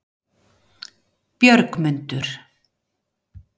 Björgmundur